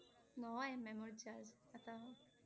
নহয় memory charge ।